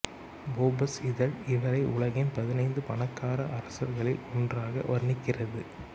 Forbes இதழ் இவரை உலகின் பதினைந்து பணக்கார அரசர்களில் ஒன்றாக வர்ணிக்கிறது